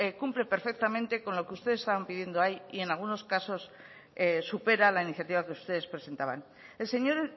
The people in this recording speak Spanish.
cumple perfectamente con lo que ustedes estaban pidiendo ahí y en algunos casos supera la iniciativa que ustedes presentaban el señor